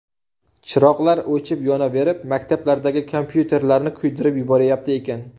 Chiroqlar o‘chib-yonaverib, maktablardagi kompyuterlarni kuydirib yuborayapti ekan.